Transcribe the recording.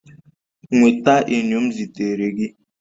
Nweta enyo m zitere gị